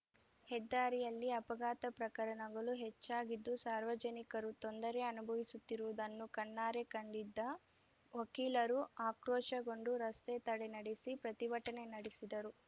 ಹೆದ್ದಾರಿಯಲ್ಲಿ ಅಪಘಾತ ಪ್ರಕರಣಗಳು ಹೆಚ್ಚಾಗಿದ್ದು ಸಾರ್ವಜನಿಕರು ತೊಂದರೆ ಅನುಭವಿಸುತ್ತಿರುವುದನ್ನು ಕಣ್ಣಾರೆ ಕಂಡಿದ್ದ ವಕೀಲರು ಆಕ್ರೋಶಗೊಂಡು ರಸ್ತೆ ತಡೆ ನಡೆಸಿ ಪ್ರತಿಭಟನೆ ನಡೆಸಿದರು